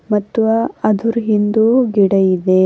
ಮತ್ವ ಆದ್ರು ಹಿಂದು ಗಿಡ ಇದೆ.